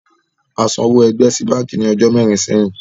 A san owó ẹgbẹ́ sí bánkì ní ọjọ́ mẹrin sẹ́yìn